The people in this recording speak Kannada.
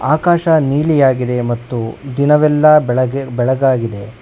ಆಕಾಶ ನೀಲಿಯಾಗಿದೆ ಮತ್ತು ದಿನವೆಲ್ಲಾ ಬೆಳಗ್ಗೆ ಬೆಳಗಾಗಿದೆ.